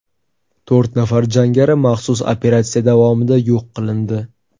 To‘rt nafar jangari maxsus operatsiya davomida yo‘q qilindi.